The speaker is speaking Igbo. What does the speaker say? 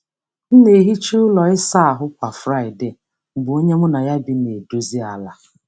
M na-ehicha ụlọ ịsa ahụ kwa Friday mgbe onye mụ na ya bi na-edozi ala.